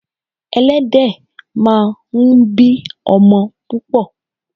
Ẹlẹ́dẹ̀ máa ń bí ọmọ púpò.